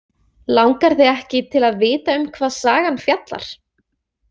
Langar þig ekki til að vita um hvað sagan fjallar?